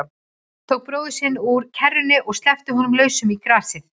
Tók bróður sinn upp úr kerrunni og sleppti honum lausum í grasið.